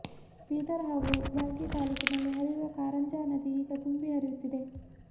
ಬೀದರ್ ಹಾಗೂ ಭಾಲ್ಕಿ ತಾಲ್ಲೂಕಿನಲ್ಲಿ ಹರಿಯುವ ಕಾರಂಜಾ ನದಿ ಈಗ ತುಂಬಿ ಹರಿಯುತ್ತಿದೆ